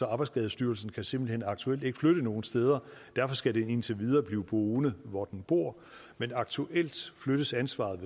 at arbejdsskadestyrelsen simpelt hen aktuelt ikke kan flytte nogen steder derfor skal den indtil videre blive boende hvor den bor men aktuelt flyttes ansvaret